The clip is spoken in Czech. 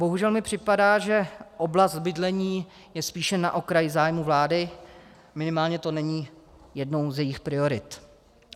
Bohužel mi připadá, že oblast bydlení je spíše na okraji zájmu vlády, minimálně to není jednou z jejích priorit.